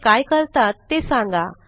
ते काय करतात ते सांगा